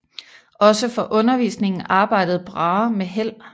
Også for undervisningen arbejdede Brahe med held